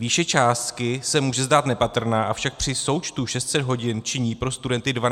Výše částky se může zdát nepatrná, avšak při součtu 600 hodin činí pro studenty 12 000 korun.